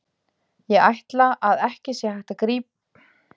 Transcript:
Ég ætla að ekki sé hægt að lýsa þeirri angist sem greip hann.